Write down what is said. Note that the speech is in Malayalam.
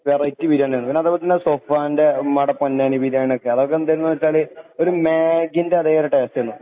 അതൊരു വെറൈറ്റി ബിരിയാണി തന്നെയായിരുന്നു. അതെ അതുപോലെ തന്നെ ഓന്റെ ഉമ്മാന്റെ പൊന്നാനി ബിരിയാണിയൊക്കെ. അതൊക്കെ എന്തിരുന്നു വെച്ചാല് ഒരു മേഗിന്റെ അതേയൊരു ടെസ്റ്റ് ആയിരുന്നു.